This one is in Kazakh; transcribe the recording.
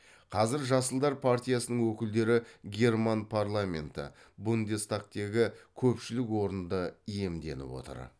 қазір жасылдар партиясының өкілдері герман парламенті бундестагтегі көпшілік орынды иемденіп отыр